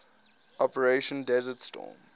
operation desert storm